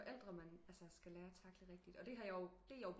Forældre man skal lære at tackle rigtigt og det har jeg jo